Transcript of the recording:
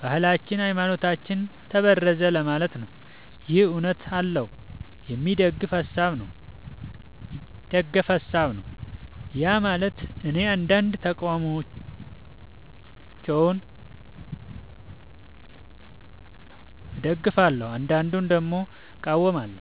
ባህላችን ሀይማኖታችን ተበረዘ ለማለት ነው ይህ እውነት አለው የሚደገፍ ሀሳብ ነው። ያማለት እኔ አንዳንድ ተቃውሞቸውን እደግፋለው አንዳዱን ደግሞ እቃወማለሁ።